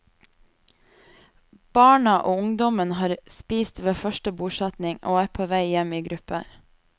Barna og ungdommen har spist ved første bordsetning, og er på vei hjem i grupper.